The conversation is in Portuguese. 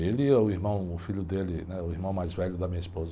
Ele e o irmão, o filho dele, né, o irmão mais velho da minha esposa.